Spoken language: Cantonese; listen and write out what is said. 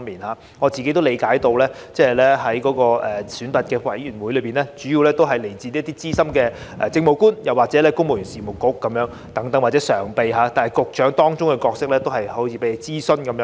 據我理解，這個晉升選拔委員會的成員主要來自資深政務官，主席是由公務員事務局局長或該局常任秘書長出任，但問責局長在當中的角色好像只有被諮詢。